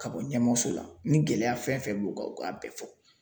Ka bɔ ɲɛmɔgɔso la ni gɛlɛya fɛn o fɛn b'u kan u K'a bɛɛ fɔ .